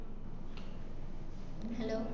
hello